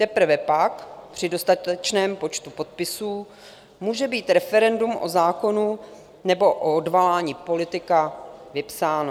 Teprve pak, při dostatečném počtu podpisů, může být referendum o zákonu nebo o odvolání politika vypsáno.